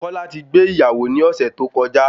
Kọ́lá ti gbé ìyàwó ní ọ̀sẹ̀ tó kọjá